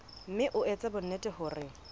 mme o etse bonnete hore